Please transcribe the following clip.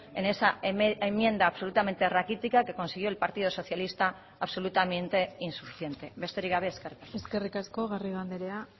en esa enmienda absolutamente raquítica que consiguió el partido socialista absolutamente insuficiente besterik gabe eskerrik asko eskerrik asko garrido andrea